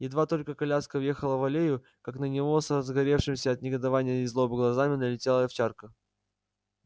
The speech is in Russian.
едва только коляска въехала в аллею как на него с разгоревшимися от негодования и злобы глазами налетела овчарка